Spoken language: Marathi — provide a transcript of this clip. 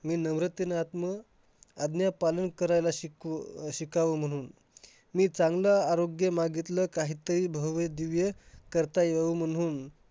मी आज्ञापालन करायला शिकव~ शिकावं म्हणून. मी चांगलं आरोग्य मागितलं काहीतरी भव्यदिव्य करता यावं म्हणून.